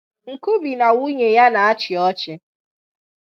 Nkubi na nwunye ya na-achị ọchị.